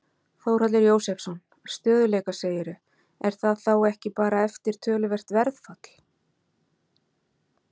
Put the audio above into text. Þórhallur Jósefsson: Stöðugleika segirðu, er það þá ekki bara eftir töluvert verðfall?